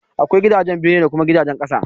Akwai gidajen na bene da kuma gidajen ƙasa.